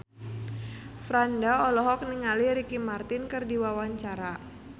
Franda olohok ningali Ricky Martin keur diwawancara